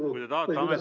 Austatud Valdo Randpere!